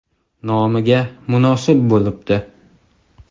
Nomiga munosib bo‘libdi.